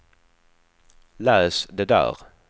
läs det där